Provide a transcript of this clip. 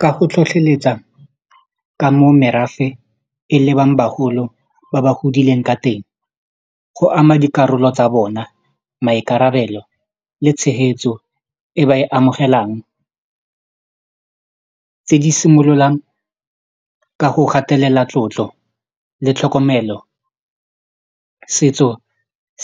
Ka go tlhotlheletsa ka mo merafe e lebang bagolo ba ba godileng ka teng go ama dikarolo tsa bona maikarabelo le tshegetso e ba e amogelang tse di simololang ka go gatelela tlotlo le tlhokomelo setso